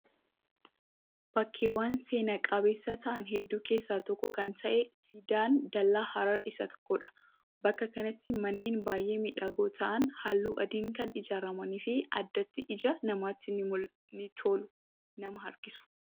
Bakkeewwan seenaa qabeessa ta'an hedduu keessaa tokko kan ta'e siidaan dallaa Harar Isa tokkodha. Bakka kanatti manneen baay'ee miidhagoo ta'an halluuu adiin kan ijaaramanii fi addatti ija namaatti ni tolu nama harkisu.